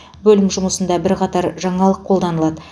бөлім жұмысында бірқатар жаңалық қолданылады